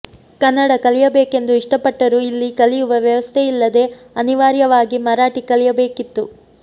ಕನ್ನಡ ಕಲಿಯಬೇಕೆಂದು ಇಷ್ಟಪಟ್ಟರೂ ಇಲ್ಲಿ ಕಲಿಯುವ ವ್ಯವಸ್ಥೆಯಿಲ್ಲದೆ ಅನಿವಾರ್ಯವಾಗಿ ಮರಾಠಿ ಕಲಿಯಬೇಕಿತ್ತು